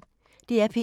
DR P1